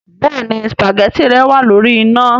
Béèni spaghetti rẹ wàá lórí iná